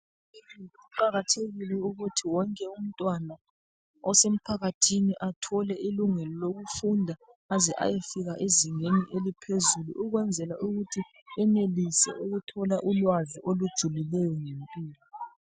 Kuqakathekile ukuthi wonke umntwana osemphakathini athole ilungelo lokufunda azeyefika ezingeni eliphezulu ukwenzela ukuthi enelise ukuthola ulwazi olujulileyo ngempilo.